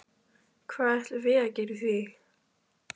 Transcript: Hvað ætlum við að gera í því?